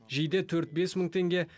жейде төрт бес мың теңге